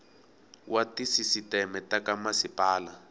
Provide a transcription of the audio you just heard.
wa tisisiteme ta ka masipala